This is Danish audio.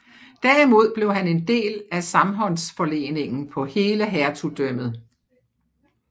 Derimod blev han en del af samhåndsforleningen på hele hertugdømmet